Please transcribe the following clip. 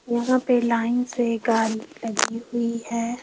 यहाँ पे लाइन से गाड़ी लगी हुई है।